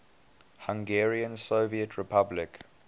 hungarian soviet republic